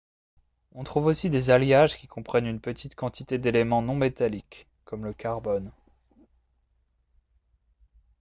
on trouve aussi des alliages qui comprennent une petite quantité d'éléments non métalliques comme le carbone